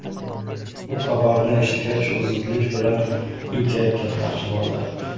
Bu xabarni eshitgach, u zudlik bilan uyga ketmoqchi bo‘ldi.